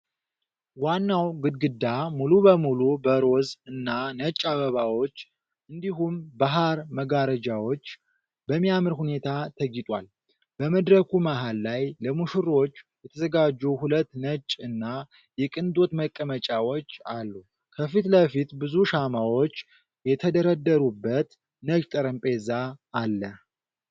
ዋናው ግድግዳ ሙሉ በሙሉ በሮዝ እና ነጭ አበባዎች እንዲሁም በሐር መጋረጃዎች በሚያምር ሁኔታ ተጊጧል። በመድረኩ መሃል ላይ ለሙሽሮች የተዘጋጁ ሁለት ነጭ እና የቅንጦት መቀመጫዎች አሉ። ከፊት ለፊት ብዙ ሻማዎች የተደረደሩበት ነጭ ጠረጴዛ አለ።